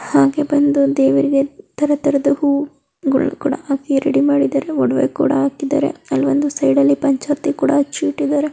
ಹಾಗೆ ಬಂದು ದೇವರಿಗೆ ತರದ ಹೂ ಗಳು ಕೂಡ ಹಾಕಿ ರೆಡಿ ಮಾಡಿದ್ದಾರೆ ಒಡವೆ ಕೂಡ ಹಾಕಿದ್ದಾರೆ ಅಲ್ ಬಂದು ಸೈಡಲ್ಲಿ ಪಂಚಾರ್ತಿ ಕೂಡ ಹಚ್ಚಿ ಇಟ್ಟಿದ್ದಾರೆ.